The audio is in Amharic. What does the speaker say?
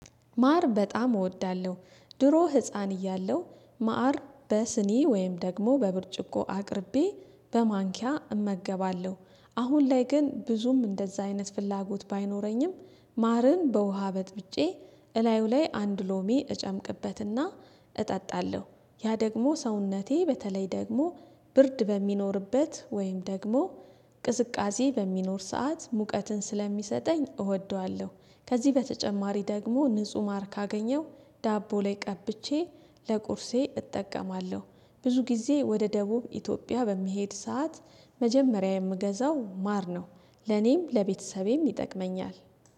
ማር በጣም እወዳለሁ። ድሮ ህፃን እያለሁ ማር በስኒ ወይም ደግሞ በብርጭቆ አቅርቤ በማንኪያ እመገባለሁ። አሁን ላይ ግን ብዙም እንደዛ አይነት ፍላጎት ባይኖረኝም። ማርን በውሃ በጥብጬ እላዩ ላይ አንድ ሎሜ እጨምቅበትና እጠጣለሁ። ያ ደግሞ ሰውነቴ በተለይ ደግሞ ብርድ በሚኖርበት ወይም ደግሞ ቅዝቃዜ በሚኖር ሰዓት ሙቀትን ስለሚሰጠኝ እወደዋለሁ። ከዚህ በተጨማሪ ደግሞ ንጹህ ማር ካገኘው ዳቦ ላይ ቀብቼ ለቁርሴ እጠቀማለሁ። ብዙ ጊዜ ወደ ደቡብ ኢትዮጵያ በምሄድ ሰዓት መጀመሪያ የምገዛው ማር ነው። ለኔም ለቤተሰቤም ይጠቅመኛል